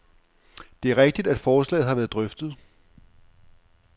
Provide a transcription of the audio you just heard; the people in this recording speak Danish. Det er rigtigt, at forslaget har været drøftet.